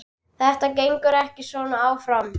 Þetta gengur ekki svona áfram.